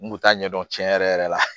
N kun t'a ɲɛdɔn tiɲɛ yɛrɛ yɛrɛ la